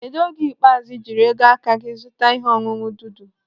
Kedụ oge ikpeazụ ị jiri ego aka gị zụta ihe ọṅụṅụ dudu?